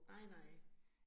Nej nej